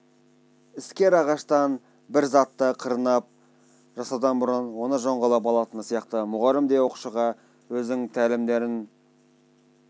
іскер ағаштан бір затты қырнап жасаудан бұрын оны жоңғылап алатыны сияқты мұғалім де оқушыға өзінің тәлімдерін